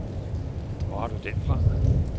Hvor har du den fra.